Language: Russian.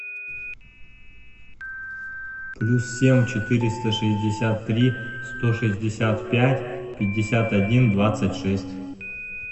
плюс семь четыреста шестьдесят три сто шестьдесят пять пятьдесят один двадцать шесть